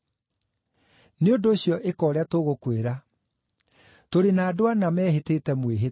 Nĩ ũndũ ũcio ĩka ũrĩa tũgũkwĩra. Tũrĩ na andũ ana mehĩtĩte mwĩhĩtwa.